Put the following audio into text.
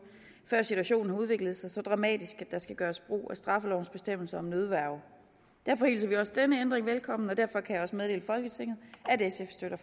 før situationen har udviklet sig så dramatisk at der skal gøres brug af straffelovens bestemmelser om nødværge derfor hilser vi også denne ændring velkommen og derfor kan jeg også meddele folketinget at sf støtter